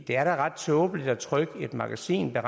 det er da ret tåbeligt at trykke et magasin der